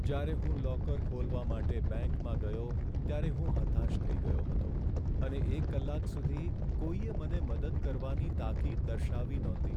જ્યારે હું લોકર ખોલવા માટે બેંકમાં ગયો ત્યારે હું હતાશ થઈ ગયો હતો અને એક કલાક સુધી કોઈએ મને મદદ કરવાની તાકીદ દર્શાવી નહોતી.